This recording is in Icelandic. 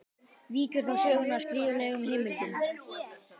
Víkur þá sögunni að skriflegum heimildum.